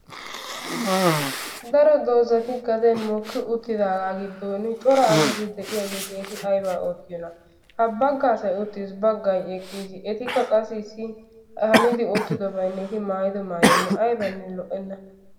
Daro dozati gaden mooki uttidagaa giddon cora asati de'iyaageti eti aybaa oottiyoonaa. ha bagga asay uttis baggay eqqiis etikka qassi issi hanidi uttidobaynne eti maayido maayoynne aybbanne lo"enna.